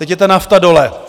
Teď je ta nafta dole.